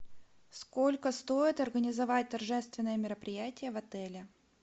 сколько стоит организовать торжественное мероприятие в отеле